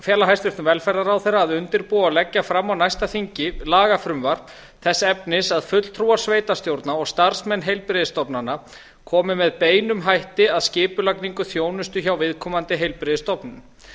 fela hæstvirtur velferðarráðherra að undirbúa og leggja fram á næsta þingi lagafrumvarp þess efnis að fulltrúar sveitarstjórna og starfsmenn heilbrigðisstofnana komi með beinum hætti að skipulagningu þjónustu hjá viðkomandi heilbrigðisstofnun